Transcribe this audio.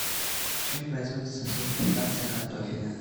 в чем производится сульфитация картофеля